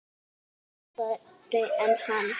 Eru þeir harðari en hann?